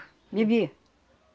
Bebia.